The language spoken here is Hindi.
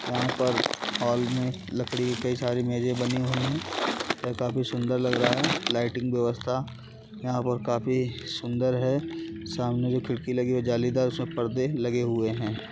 यहाँ पर हॉल में लकड़ी की कई सारी मेज़ें बनी हुई हैं। यह काफी सुन्दर लग रहा है। लाइटिंग व्यवस्था यहाँ पर काफी सुन्दर है सामने जो खिड़की लगी हुई है जालीदार उसमें परदे लगे हुए हैं।